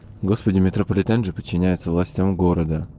господи метрополитен же подчиняется властям города